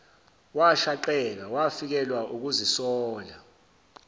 washaqeka wafikelwa ukuzisola